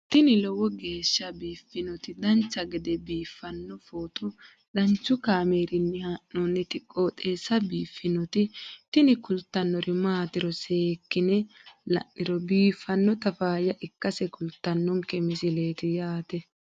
tini lowo geeshsha biiffannoti dancha gede biiffanno footo danchu kaameerinni haa'noonniti qooxeessa biiffannoti tini kultannori maatiro seekkine la'niro biiffannota faayya ikkase kultannoke misileeti yaate